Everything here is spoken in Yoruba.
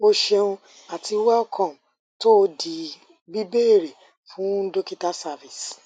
o ṣeun ati welcome to the bíbéèrè fún dokita service